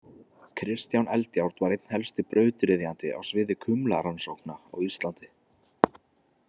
Kristján Eldjárn var einn helsti brautryðjandi á sviði kumlarannsókna á Íslandi.